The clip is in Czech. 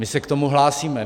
My se k tomu hlásíme.